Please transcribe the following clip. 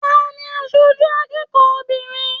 Taní aṣoju akẹ́kọ̀ọ́ obìnrin?